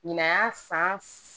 Ɲinan y'a san